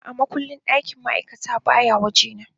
A'a, matukin ɗakin ma'aikata baya waje na